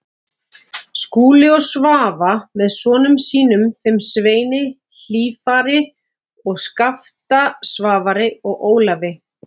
Skúli og Svava með sonum sínum, þeim Sveini Hlífari, Skafta Svavari og Ólafi